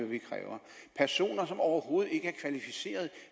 vi kræver personer som overhovedet ikke er kvalificeret